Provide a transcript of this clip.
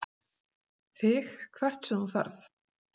ÞIG HVERT SEM ÞÚ FERÐ.